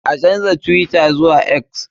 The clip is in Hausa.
An canja twitter zuwa X.